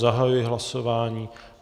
Zahajuji hlasování.